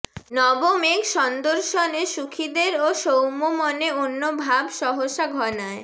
নব মেঘ সন্দর্শনে সুখিদের ও সৌম্যমনে অন্যভাব সহসা ঘনায়